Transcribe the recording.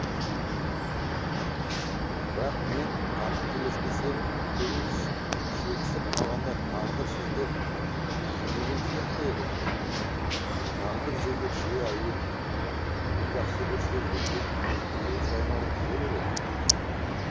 бірақ мен қателеспесем екеуіңіз шекісіп қалғанда тағдыр сізді жебеген сияқты еді тағдыр жезөкше әйел бүгін жақсы көрсе ертең теріс айналып жүре береді